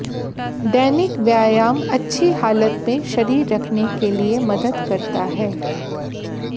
दैनिक व्यायाम अच्छी हालत में शरीर रखने के लिए मदद करता है